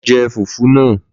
Lọ je fùfú náà!